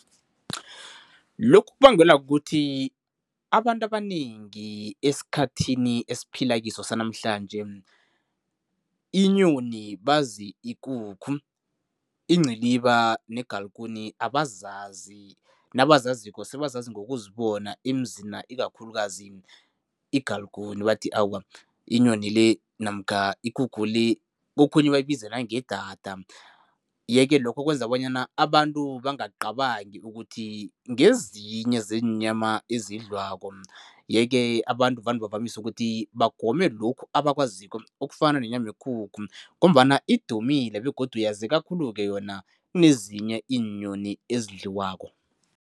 Lokhu kubangelwa kukuthi abantu abanengi esikhathini esiphila kiso sanamhlanje, inyoni bazi ikukhu, inciliba negalikuni abazazi. Nabazaziko, sebazazi ngokuzibona emzina, ikakhulukazi igalikuni, bathi awa inyoni le namkha ikukhu le, kokhunye bayibiza nangedada yeke lokho wkenza bonyana abantu bangacabangi ukuthi ngezinye zeenyama ezidlwako yeke abantu vane bavamise ukuthi bagome lokhu abakwaziko, okufana nenyama yekukhu ngombana idumile begodu yazeka khulu-ke yona kunezinye iinyoni ezidliwako.